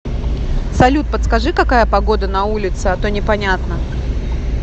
салют подскажи какая погода на улице а то непонятно